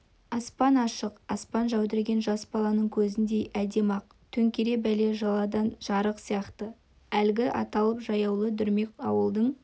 аспан ашық аспан жәудіреген жас баланың көзіндей әдемі-ақ төңірек бәле-жаладан жырақ сияқты әлгі аттылы-жаяулы дүрмек ауылдың